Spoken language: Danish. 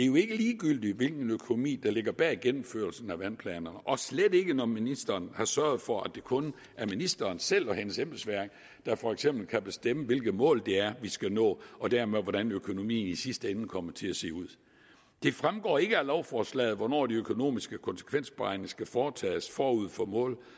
jo ikke ligegyldigt hvilken økonomi der ligger bag gennemførelsen af vandplanerne og slet ikke når ministeren har sørget for at det kun er ministeren selv og hendes embedsværk der for eksempel kan bestemme hvilke mål det er vi skal nå og dermed hvordan økonomien i sidste ende kommer til at se ud det fremgår ikke af lovforslaget hvornår de økonomiske konsekvensberegninger skal foretages forud for